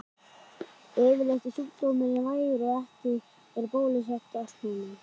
Yfirleitt er sjúkdómurinn vægur og ekki er bólusett gegn honum.